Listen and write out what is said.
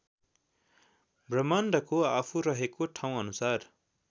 ब्रह्माण्डको आफू रहेको ठाउँअनुसार